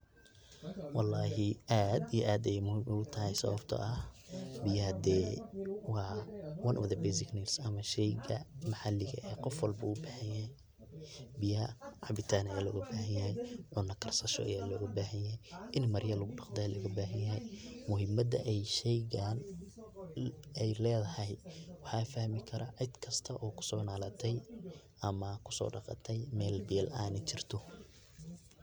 Walaahi aad iyo aad ayay muhiim u tahay sawabto ah biyo hade waa one of the basic things ama shayga qof waliba u bahanyahay biyaha cabitan aya loga bahanyahay, cuno karsasho aya looga bahanyahay, in maryo lagu daqdo aya looga bahanyahay muhiimada ay shaygan ay leedahay waxaa fahmi kara cid kasto oo kusoonaalatay ama kusodhaqatay mel biya laan jirto.